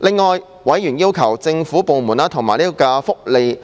另外，委員要求政府部門及福利